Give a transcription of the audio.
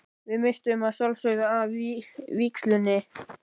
Við misstum að sjálfsögðu af vígslunni.